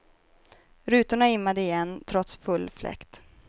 Rutorna immade igen trots full fläkt.